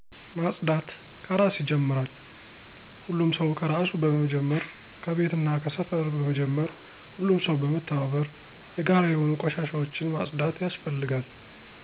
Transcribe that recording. ማፅዳት ከራስ ይጀምራል ሁሉም ሰው ከራሱ በመጀመር ከቤትና ከሰፈር በመጀመር ሁሉም ሰው በመተባበር የጋራ የሆኑ ቆሻሻወችን ማፅዳት ያስፈልጋል።